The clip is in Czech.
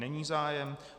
Není zájem.